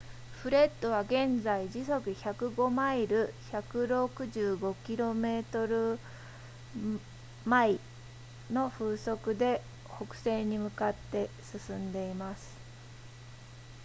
フレッドは現在時速105マイル 165km/h の風速で北西に向かって進んでいます